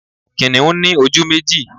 Kìnìún ní ojú méjì